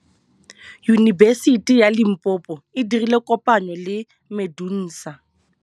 Yunibesiti ya Limpopo e dirile kopanyô le MEDUNSA.